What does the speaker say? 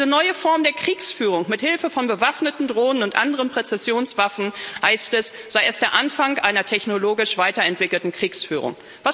Diese neue Form der Kriegsführung mit Hilfe von bewaffneten Drohnen und anderen Präzisionswaffen heißt es, sei erst der Anfang einer technologisch weiterentwickelten Kriegsführung.